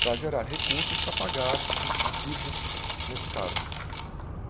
para gerar recursos para pagar as dívidas nesse caso.